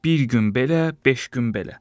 Bir gün belə, beş gün belə.